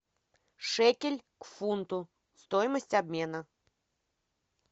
шекель к фунту стоимость обмена